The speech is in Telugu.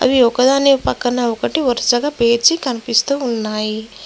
ఇవి ఒకదాని పక్కన ఒకటి వరుసగా పేర్చి కనిపిస్తూ ఉన్నాయి.